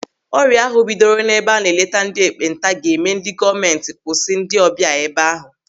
Ọrịa ahụ bidoro n'ebe a na-eleta ndị ekpenta ga-eme ndị gọọmenti kwụsị ndị ịbịa ebe ahụ.